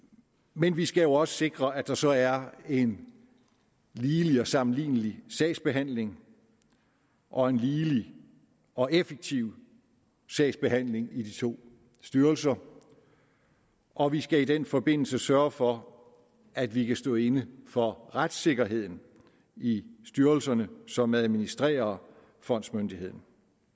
men vi skal jo også sikre at der så er en ligelig og sammenlignelig sagsbehandling og en ligelig og effektiv sagsbehandling i de to styrelser og vi skal i den forbindelse sørge for at vi kan stå inde for retssikkerheden i styrelserne som administrerer fondsmyndigheden